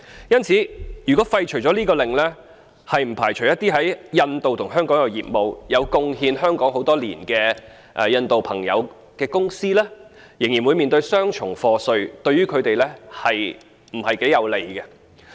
因此，如果廢除了這項命令，不排除一些在印度和香港也有業務，對香港作出貢獻很多年的印度朋友的公司，仍會面對雙重課稅，對於他們頗為不利。